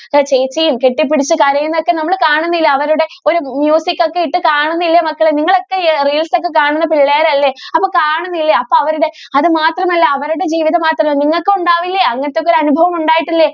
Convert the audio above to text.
ചേച്ചിയും കെട്ടി പിടിച്ചു കരയുന്നത് ഒക്കെ നമ്മൾ കാണുന്നില്ലേ അവരുടെ ഒരു ഒക്കെ ഇട്ട് നമ്മൾ കാണുന്നില്ലേ മക്കളെ നിങ്ങൾ ഒക്കെ reels ഒക്കെ കാണുന്ന പിള്ളേരല്ലേ അപ്പൊ കാണുന്നില്ലേ അപ്പൊ അവരുടെ അത് മാത്രം അല്ല അവരുടെ ജീവിതം മാത്രം അല്ല നിങ്ങൾക്കും ഉണ്ടാകില്ലേ അങ്ങനത്തെ ഒക്കെ അനുഭവം ഉണ്ടായിട്ടില്ലേ.